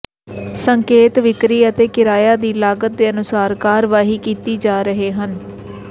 ਸੰਕੇਤ ਵਿਕਰੀ ਅਤੇ ਕਿਰਾਇਆ ਦੀ ਲਾਗਤ ਦੇ ਅਨੁਸਾਰ ਕਾਰਵਾਈ ਕੀਤੀ ਰਹੇ ਹਨ